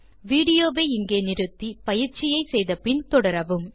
video வை நிறுத்தி பயிற்சியை முடித்த பின் தொடரவும்